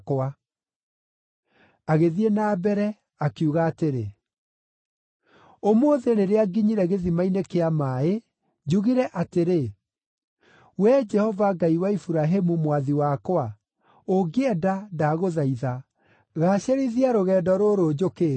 Agĩthiĩ na mbere, akiuga atĩrĩ, “Ũmũthĩ rĩrĩa nginyire gĩthima-inĩ kĩa maaĩ, njugire atĩrĩ, ‘Wee Jehova Ngai wa Iburahĩmu mwathi wakwa, ũngĩenda, ndagũthaitha, gaacĩrithia rũgendo rũrũ njũkĩte.